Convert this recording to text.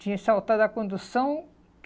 Tinha que saltar da condução.